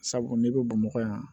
Sabu n'i bɛ bamakɔ yan